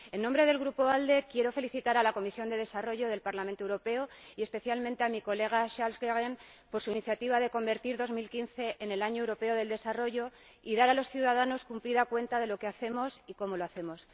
En nombre del Grupo ALDE, quiero felicitar a la Comisión de Desarrollo del Parlamento Europeo, y especialmente a mi colega Charles Goerens, por su iniciativa de convertir 2015 en el Año Europeo del Desarrollo y dar a los ciudadanos cumplida cuenta de lo que hacemos y cómo lo hacemos.